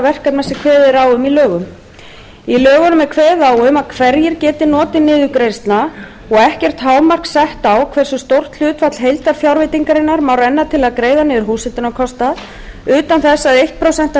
verkefna sem kveðið er á um í lögunum í lögunum er kveðið á um hverjir geti notið niðurgreiðslna og ekkert hámark sett á hversu stórt hlutfall heildarfjárveitingarinnar má renna til að greiða niður húshitunarkostnað utan þess að eitt prósent af heildarfjárveitingunni